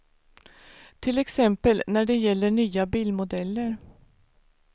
Till exempel när det gäller nya bilmodeller.